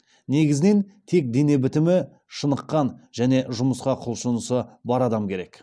негізінен тек дене бітімі шыныққан және жұмысқа құлшынысы бар адам керек